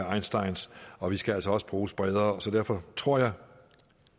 einstein og vi skal altså også bruges bredere så derfor tror jeg